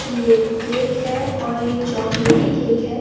यह एक केक है और यह चॉकलेटी केक है।